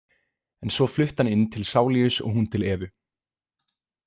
En svo flutti hann inn til Saulius og hún til Evu.